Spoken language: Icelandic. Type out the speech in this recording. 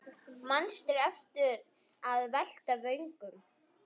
Manstu eftir að velta vöngum?